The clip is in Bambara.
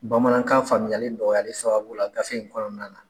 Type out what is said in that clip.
Bamanankan faamuyali nƆgƆyali sababu la gafe in kɔnɔna na.